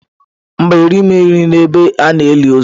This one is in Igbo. Mba, erighị m nri n'ebe a na-eli ozu.